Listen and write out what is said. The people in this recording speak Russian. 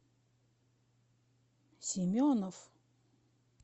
семенов